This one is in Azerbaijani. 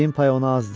Dediyim pay ona azdır.